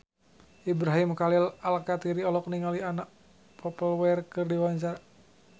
Ibrahim Khalil Alkatiri olohok ningali Anna Popplewell keur diwawancara